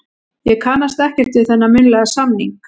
Ég kannast ekkert við þennan munnlega samning.